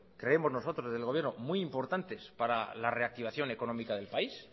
creemos nosotros desde el gobierno muy importantes para la reactivación económica del país